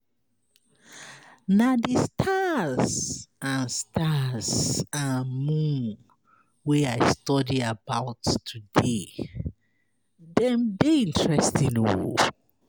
Na the stars and stars and moon wey I study about today. Dem dey interesting.